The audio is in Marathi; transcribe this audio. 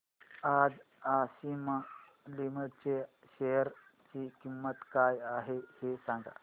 आज आशिमा लिमिटेड च्या शेअर ची किंमत काय आहे हे सांगा